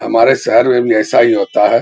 हमारे शहर में भी ऐसा ही होता है।